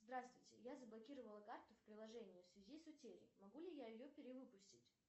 здравствуйте я заблокировала карту в приложении в связи с утерей могу ли я ее перевыпустить